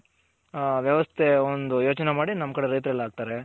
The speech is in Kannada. ವ್ಯವಸ್ಥೆ ಒಂದ್ ಯೋಚ್ನೆ ಮಾಡಿ ನಮ್ ಕಡೆ ರೈತರೆಲ್ಲ ಹಾಕ್ತಾರೆ